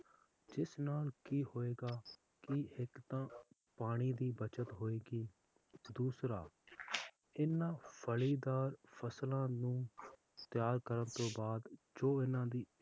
ਜਿਸ ਨਾਲ ਕੀ ਹੋਏਗਾ ਕਿ ਇੱਕ ਤਾਂ ਪਾਣੀ ਦੀ ਬੱਚਤ ਹੋਏਗੀ ਦੂਸਰਾ ਹਨ ਫਲੀਦਾਰ ਫਸਲਾਂ ਨੂੰ ਤਿਆਰ ਕਰਨ ਦੇ ਬਾਅਦ ਜੋ ਹਨ ਦੀ